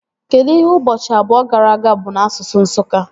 Kedụ ihe ụbọchị abụọ gara aga bụ n'asụsụ Nsụka?